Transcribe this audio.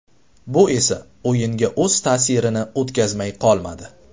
Bu esa o‘yinga o‘z ta’sirini o‘tkazmay qolmadi.